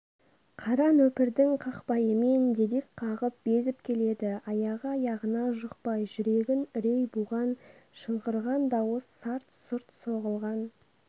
қара нөпірдің қақпайымен дедек қағып безіп келеді аяғы-аяғына жұқпай жүрегін үрей буған шыңғырған дауыс сарт-сұрт соғылған